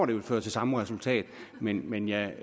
vil føre til samme resultat men men jeg